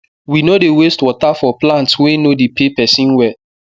we no dey waste water for plants wey no dey pay pesin well